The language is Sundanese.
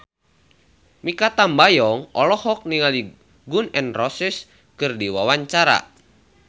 Mikha Tambayong olohok ningali Gun N Roses keur diwawancara